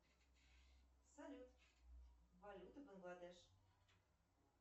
салют валюта бангладеш